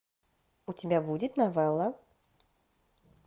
у тебя будет новелла